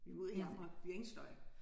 Vi må ud herfra vi har ingen støj